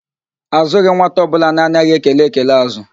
Azụghị nwata ọbụla na-anaghị ekele ekele ázụ́